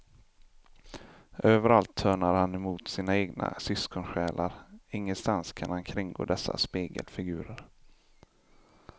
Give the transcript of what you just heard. Överallt törnar han emot sina egna syskonsjälar, ingenstans kan han kringgå dessa spegelfigurer.